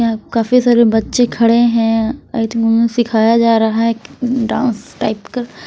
यहाँ काफी सारे बच्चे खड़े हैं आई थिंक उन्हें सिखाया जा रहा है डांस टाइप का।